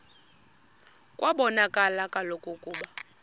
kwabonakala kaloku ukuba